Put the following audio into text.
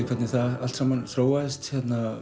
hvernig það allt saman þróaðist